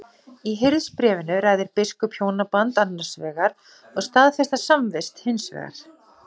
Í Hirðisbréfinu ræðir biskup hjónaband annars vegar og staðfesta samvist hins vegar.